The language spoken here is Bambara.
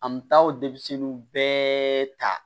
An bɛ taa o denmisɛnninw bɛɛ ta